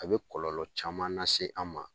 A bɛ kɔlɔlɔ caman lase an ma